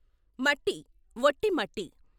మట్టి, ఒట్టి మట్టి.